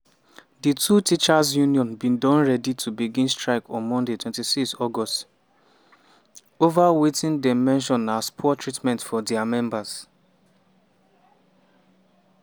di two teachers union bin don ready to begin strike on monday 26 august ova wetin dem mention as poor treatment for dia members.